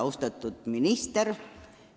Austatud minister!